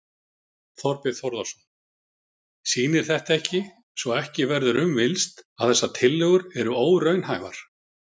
Þorbjörn Þórðarson: Sýnir þetta ekki, svo ekki verður um villst, að þessar tillögur eru óraunhæfar?